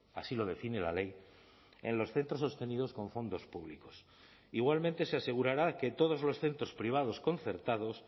así lo define la ley en los centros sostenidos con fondos públicos igualmente se asegurará que todos los centros privados concertados